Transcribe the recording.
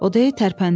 O də tərpəndi.